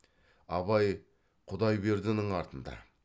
абай құдайбердінің артында